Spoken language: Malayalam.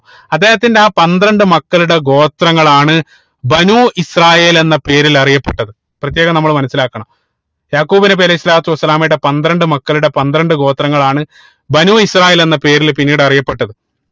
അദ്ദേഹത്തിന്റെ ആ പന്ത്രണ്ട് മക്കളുടെ ഗോത്രങ്ങളാണ് ബനൂ ഇസ്രായേൽ എന്ന പേരിൽ അറിയപ്പെട്ടത് പ്രത്യേകം നമ്മള് മനസിലാക്കണം യാഖൂബ് നബി അലൈഹി സ്വലാത്തു വസ്സലാമയുടെ പന്ത്രണ്ട് മക്കളുടെ പന്ത്രണ്ട് ഗോത്രങ്ങളാണ് ബനൂ ഇസ്രായേൽ എന്ന പേരിൽ പിന്നീട് അറിയപ്പെട്ടത്